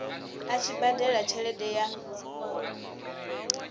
a tshi badela tshelede ya